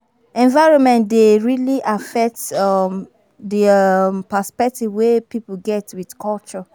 Environment dey really affect um di um perspective wey pipo get with culture